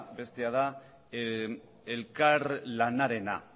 bestea da elkarlanarena